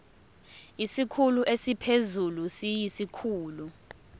isikhulu esiphezulu siyisikhulu